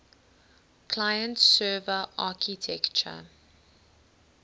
client server architecture